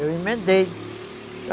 Eu emendei.